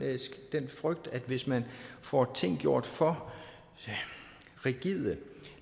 frygt at hvis man får tingene gjort for rigide og